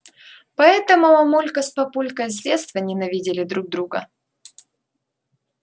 поэтому мамулька с папулькой с детства ненавидели друг друга